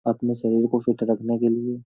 अपने शरीर को फिट रखने के लिए --